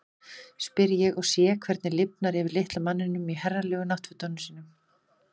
spyr ég og sé hvernig lifnar yfir litla manninum í herralegu náttfötunum sínum.